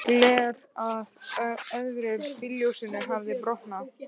Gler af öðru bílljósinu hafði brotnað.